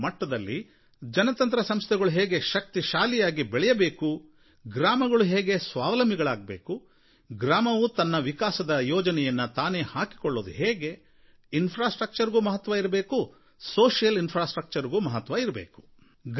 ಭಾರತದ ಮೂಲೆಮೂಲೆಗಳಲ್ಲಿರುವ ಗ್ರಾಮಗಳ ಮಟ್ಟದಲ್ಲಿ ಜನತಂತ್ರ ಸಂಸ್ಥೆಗಳು ಹೇಗೆ ಶಕ್ತಿಶಾಲಿಯಾಗಿ ಬೆಳೆಯಬೇಕು ಗ್ರಾಮಗಳು ಹೇಗೆ ಸ್ವಾವಲಂಬಿಗಳಾಗಬೇಕು ಗ್ರಾಮವು ತಮ್ಮ ವಿಕಾಸದ ಯೋಜನೆಯನ್ನು ತಾನೇ ಹಾಕಿಕೊಳ್ಳುವುದು ಹೇಗೆ ಮೂಲಸೌಕರ್ಯಕ್ಕೂ ಮಹತ್ವ ಇರಬೇಕು ಸಾಮಾಜಿಕ ಮೂಲಸೌಕರ್ಯಕ್ಕೂ ಮಹತ್ವ ಇರಬೇಕು